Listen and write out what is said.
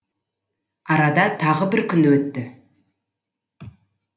арада тағы бір күн өтті